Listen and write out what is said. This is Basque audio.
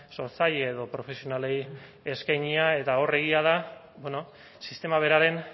sortzaile edo profesionalei eskainia eta hor egia da bueno sistema beraren